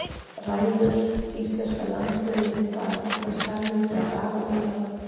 Ræður íslenska landsliðið við það að fylla skarðið þegar Aron Einar vantar?